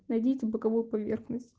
найдите боковую поверхность